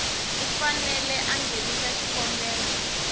u fanele a nghenisa xikombelo